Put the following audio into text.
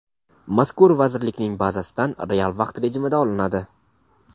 mazkur vazirlikning bazasidan real vaqt rejimida olinadi.